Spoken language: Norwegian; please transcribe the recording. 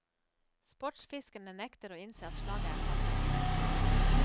Sportsfiskerne nekter å innse at slaget er tapt.